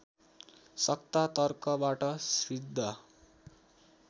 सत्ता तर्कबाट सिद्ध